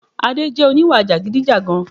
Adé jẹ oníwà jàgidijàgan